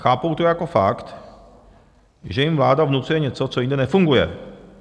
Chápou to jako fakt, že jim vláda vnucuje něco, co jinde nefunguje.